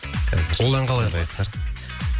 ол ән қалай атайды